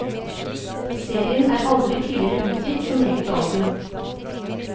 Serien er aldri tidligere utgitt som eget album.